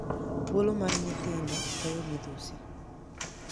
Thuolo mar nyithindo keyo midhusi.